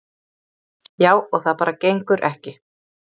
Já, og það bara gengur ekki.